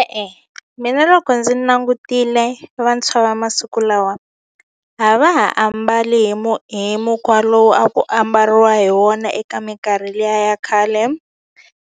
E-e, mina loko ndzi nangutile vantshwa va masiku lawa a va ha ambali hi hi mukhwa lowu a ku ambariwa hi wona eka mikarhi liya ya khale